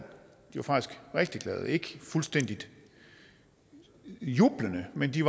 var faktisk rigtig glade ikke fuldstændig jublende men de